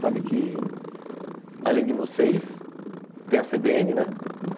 Sabe que, além de vocês, tem a cê bê ene, né?